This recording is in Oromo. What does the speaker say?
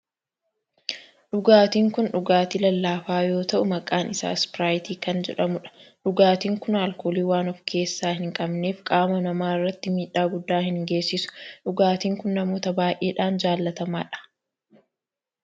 Dhugaatin kun dhugaatii lallaafaa yoo ta'u maqaan isaa ispiraayitii kan jedhamudha. dhugaatin kun alkoolii waan of keessaa hin qabneef qaama namaa irratti miidhaa guddaa hin geessisu. dhugaatin kun namoota baayyedhan jaalatamaadha.